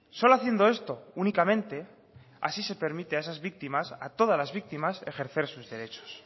solo haciendo esto únicamente así se permite a esas víctimas a todas las víctimas ejercer sus derechos